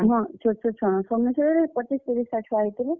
ହଁ ଛୋଟ୍ ଛୋଟ୍ ଛୁଅମାନେ, ସବୁ ମିଶେଇକରି ପଚିସ୍, ତିରିଶ୍ ଟା ଛୁଆ ହେଇଥିଲେ।